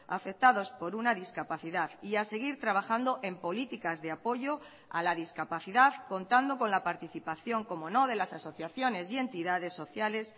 afectados por una discapacidad y a seguir trabajando en políticas de apoyo a la discapacidad contando con la participación cómo no de las asociaciones y entidades sociales